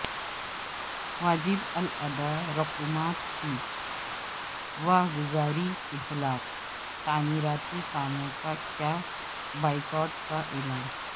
واجب الادا رقومات کی واگزاری کے خلاف تعمیراتی کاموں کا کیا بائیکاٹ کا اعلان